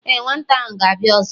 e, nwata ahu gābia ọzọ